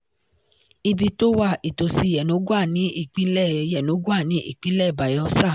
ibi to wa itosi yenogoa ni ipinle yenogoa ni ipinle bayelsa